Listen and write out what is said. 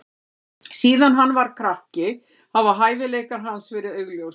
Síðan hann var krakki hafa hæfileikar hans verið augljósir.